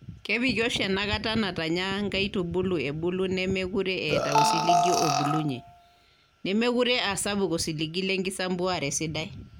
Kepiki oshi ena enkata natanya nkaitubulu ebulu nemeekure eeta osiligi obulunyie, nemeekure aa sapuk osiligi le nkisampuare sidai.